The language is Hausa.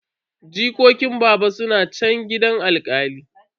Jikokin baba suna chan gidan alkali.